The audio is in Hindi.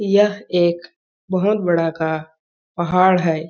यह एक बहोत बड़ा का पहाड़ है।